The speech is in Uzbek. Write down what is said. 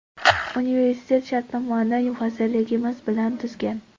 Universitet shartnomani vazirligimiz bilan tuzgan.